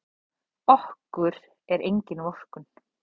Okkur er engin vorkunn.